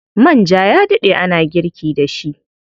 Manja ya daɗe ana girki da shi.